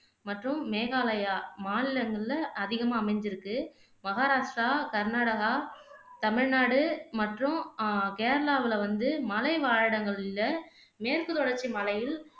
மற்றும் மேகாலயா மாநிலங்கள்ல அதிகமா அமைஞ்சுருக்கு மஹாராஷ்ரா, கர்னாடகா, தமிழ்நாடு மற்றும் அஹ் கேரளாவுல வந்து மலைவாழிடங்கள்ல மேற்கு தொடர்ச்சி மலையில்